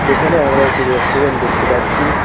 এখানে আমরা একটি রেস্টুরেন্ট দেখতে পাচ্ছি।